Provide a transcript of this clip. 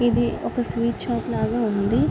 ఇది ఒక sweet shop లాగా ఉంది.